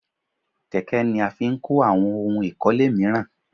Kẹ̀kẹ́ ni a fi n kó àwọn ohun ìkọ́lé míràn